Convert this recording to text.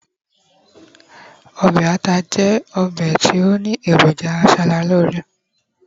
obe ata jẹ obe ti o ni eroja asaralore